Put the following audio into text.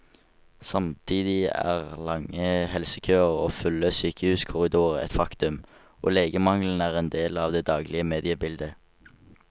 Samtidig er lange helsekøer og fulle sykehuskorridorer et faktum, og legemangelen er en del av det daglige mediebildet.